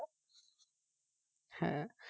হ্যাঁ